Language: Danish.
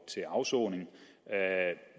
til afsoning